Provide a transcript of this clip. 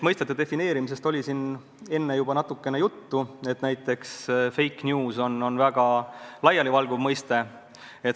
Mõistete defineerimisest oli siin juba natukene juttu – no et fake news on väga laialivalguv mõiste.